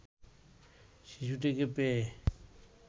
শিশুটিকে পেয়ে